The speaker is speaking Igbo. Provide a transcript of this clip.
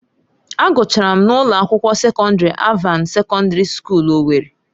Agụchara m na ụlọ akwụkwọ sekọndrị Alvana Sekọndrị Skuul Owerri